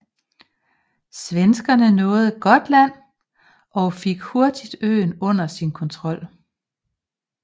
Svenskerne nåede Gotland og fik hurtigt øen under sin kontrol